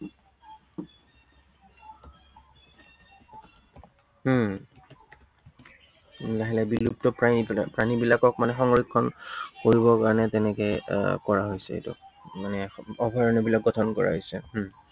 উম লাহে লাহে বিলুপ্ত প্ৰাণী, প্ৰাণীবিলাকক মানে সংৰক্ষণ কৰিবৰ কাৰনে তেনেকে আহ কৰা হৈছে এইটো। মানে অভয়াৰণ্য় বিলাক গঠন কৰা হৈছে। উম